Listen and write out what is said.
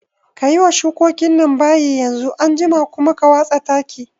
Kayi wa shukokin nan bayi yanzu, anjima kuma ka watsa taki